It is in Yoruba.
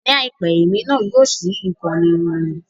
Ní àìpẹ́, èmi náà yóò ṣí ìkànnì ìròyìn